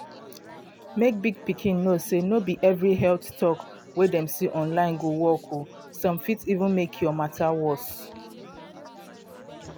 mek big pikin know say no be every health talk wey dem see online go work o some fit even make your matter worse.